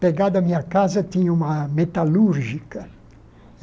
Pegado à minha casa, tinha uma metalúrgica.